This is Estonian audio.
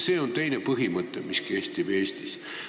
See on see põhimõte, mis kehtib Eestis.